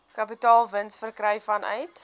kapitaalwins verkry vanuit